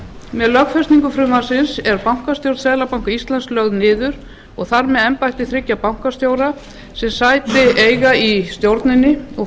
með lögfestingu frumvarpsins er bankastjórn seðlabanka íslands lögð niður og þar með embætti þriggja bankastjóra sem sæti eiga í stjórninni og